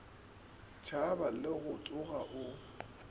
tšhaba le go tsoga o